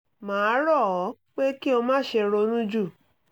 mà á rọ̀ ọ́ pé kí o má ṣe ronú jù